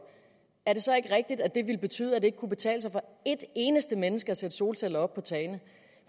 er det så ikke rigtigt at det ville betyde at det ikke kunne betale sig for ét eneste menneske at sætte solceller op